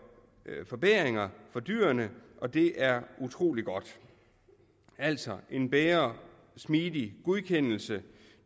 forbedringer for dyrene og det er utrolig godt altså en bedre og smidigere godkendelse